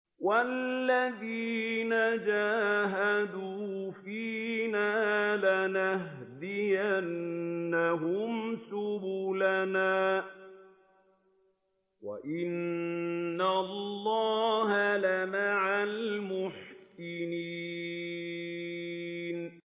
وَالَّذِينَ جَاهَدُوا فِينَا لَنَهْدِيَنَّهُمْ سُبُلَنَا ۚ وَإِنَّ اللَّهَ لَمَعَ الْمُحْسِنِينَ